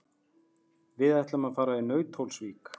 Við ætlum að fara í Nauthólsvík.